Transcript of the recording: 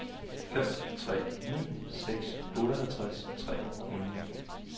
fem tre ni seks otteoghalvtreds tre hundrede